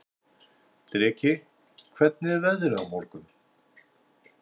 Dreki, hvernig er veðrið á morgun?